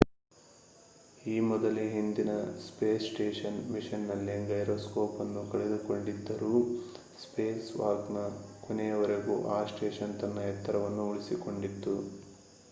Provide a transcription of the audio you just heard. ಈ ಮೊದಲೇ ಹಿಂದಿನ ಸ್ಪೇಸ್ ಸ್ಟೇಷನ್ ಮಿಷನ್‌ನಲ್ಲಿ ಗೈರೊಸ್ಕೋಪ್‍‌ ಅನ್ನು ಕಳೆದುಕೊಂಡಿದ್ದರೂ ಸ್ಪೇಸ್‍‌ವಾಕ್‍‌ನ ಕೊನೆಯವರೆಗೂ ಆ ಸ್ಟೇಷನ್ ತನ್ನ ಎತ್ತರವನ್ನು ಉಳಿಸಿಕೊಂಡಿತ್ತು